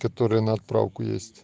который на отправку есть